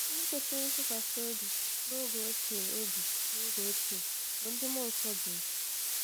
Ndị kwesịrị ntụkwasị obi n’oge ochie obi n’oge ochie, bụ́ ndị mmụọ nsọ duru